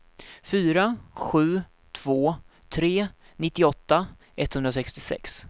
fyra sju två tre nittioåtta etthundrasextiosex